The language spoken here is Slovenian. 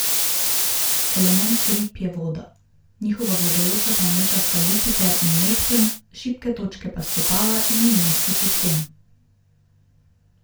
Element rib je voda, njihova vladajoča planeta sta Jupiter in Neptun, šibke točke pa stopala in imunski sistem.